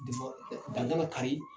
dan kari.